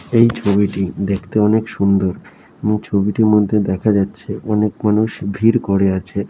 এই ছবিটি দেখতে অনেক সুন্দর | এবং ছবিটির মধ্যে দেখা যাচ্ছে অনেক মানুষ ভিড় করে আছে।